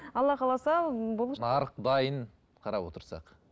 алла қаласа нарық дайын қарап отырсақ